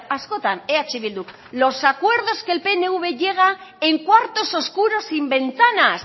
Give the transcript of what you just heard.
askotan eh bildu los acuerdos que el pnv lleva en cuartos oscuros sin ventanas